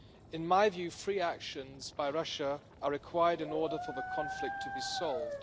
In my view, three actions by Russia are required in order for the conflict to be solved.